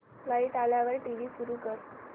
light आल्यावर TV सुरू कर